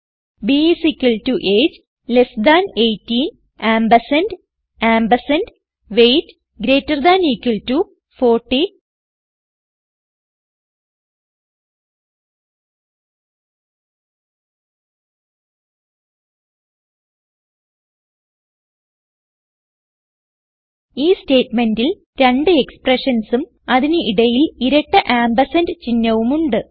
b is equal to AGE less than 18 ampersand ampersand weight greater than equal to 40 ഈ സ്റ്റേറ്റ്മെന്റിൽ രണ്ട് expressionsഉം അതിന് ഇടയിൽ ഇരട്ട ആംപർസാൻഡ് ചിഹ്നവും ഉണ്ട്